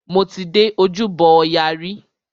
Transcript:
Mo ti dé Ojúbọ ọya rí.